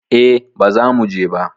E, bazamu je ba